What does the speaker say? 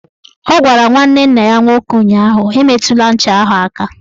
Ọ gwara nwanne nna ya nwoke ụnyaahụ "Emetụla ncha ahụ aka!